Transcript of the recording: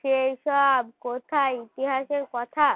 সেই সব কোথায় ইতিহাসের কথা